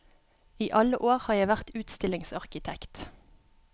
I alle år har jeg vært utstillingsarkitekt.